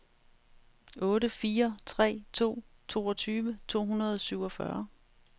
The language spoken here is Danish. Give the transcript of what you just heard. otte fire tre to toogtyve to hundrede og syvogfyrre